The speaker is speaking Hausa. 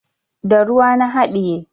Da ruwa na haɗiye.